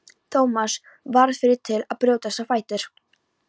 Thomas varð fyrri til að brjótast á fætur.